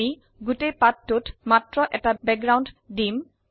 আমি গোতেই পাঠটোত মাত্ৰ এটি বেঘগ্ৰাওন্দ দিম